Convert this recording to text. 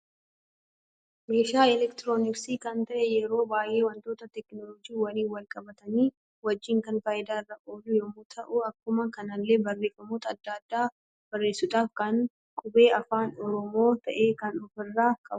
Meeshaa elektirooniksii kan ta'e yeroo baay'ee wantoota tekinooloojii wajjin wal qabatani wajjin kan faayidaa irra ooluu yemmu ta'u ,akkuma kanallee barreeffamoota adda addaa barreessuudhaaf kan qubee afaan oromoo ta'e kan ofirra qabudha.